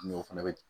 Mɛ o fɛnɛ bɛ